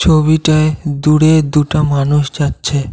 ছবিটায় দূরে দুটা মানুষ যাচ্ছে।